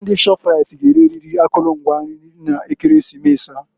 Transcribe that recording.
Ndị Shọpraịt g'ereriri akụlụ ngwa nri na Ekeresimesi a.